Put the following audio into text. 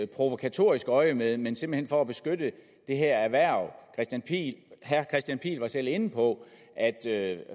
provokatorisk øjemed men simpelt hen for at beskytte det her erhverv herre kristian pihl lorentzen var selv inde på at